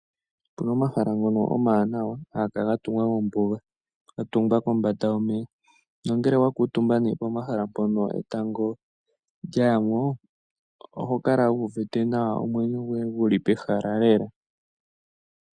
Opuna omahala ngono omawanawa ha ga kala ga tungwa mombuga ga tungwa kombanda yomeya. Nongele wa kuutumba pehala mpono etango lya ya mo oho kala wu uvite nawa, omwenyo goye gu li pehala lela.